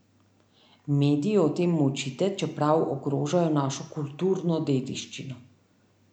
Mediji o tem molčite, čeprav ogrožajo našo kulturno dediščino.